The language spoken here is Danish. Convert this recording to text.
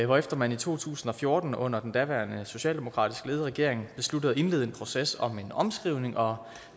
hvorefter man i to tusind og fjorten under den daværende socialdemokratisk ledede regering besluttede at indlede en proces om en omskrivning og